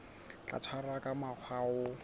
tla tshwarwa ka mokgwa o